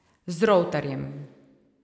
Z Rovtarjem.